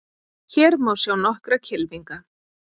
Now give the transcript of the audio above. Hér má sjá nokkra kylfinga.